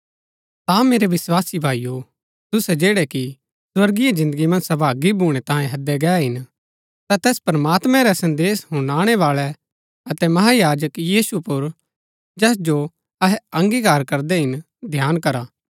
ता मेरै विस्वासी भाईओ तुसै जैड़ै कि स्वर्गीय जिन्दगी मन्ज सहभागी भूणै तांये हैदै गै हिन ता तैस प्रमात्मैं रै संदेश हुनाणै बाळै अतै महायाजक यीशु पर जैस जो अहै अंगीकार करदै हिन ध्यान करा